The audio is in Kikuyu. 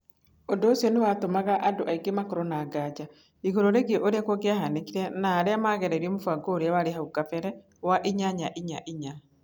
Ũndũ ũcio nĩ watũmaga andũ aingĩ makorũo na nganja igũrũ rĩgiĩ ũrĩa kũngĩahanĩkire na arĩa maageririe mũbango ũrĩa warĩ hau kabere wa 8-4-4.